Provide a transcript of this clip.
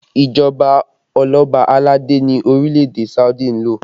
Ìjọba oloba aládé ni orílẹ̀ èdè Saudi ń lò